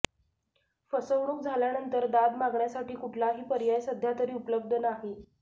फसवणूक झाल्यानंतर दाद मागण्यासाठी कुठलाही पर्याय सध्यातरी उपलब्ध नाही